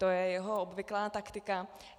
To je jeho obvyklá taktika.